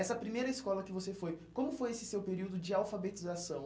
Essa primeira escola que você foi, como foi esse seu período de alfabetização?